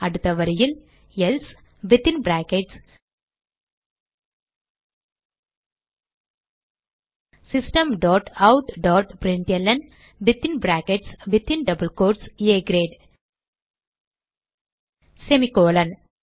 அடுத்த வரியில் else within brackets system dot out dot println within brackets within double quotes a great semicolon